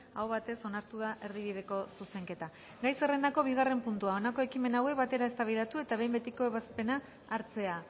aho batez onartu da erdibideko zuzenketa gai zerrendako bigarren puntua honako ekimen hauek batera eztabaidatu eta behin betiko ebazpena hartzea